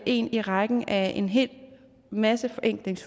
en i rækken af en hel masse